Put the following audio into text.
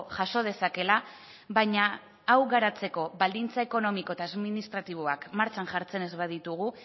jaso dezakeela baina hau garatzeko baldintza ekonomiko eta administratiboak martxan jartzen ez baldin baditugu